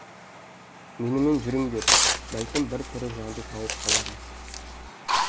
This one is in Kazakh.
менімен жүріңдер бәлкім бір тірі жанды тауып қалармыз